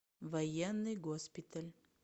военный госпиталь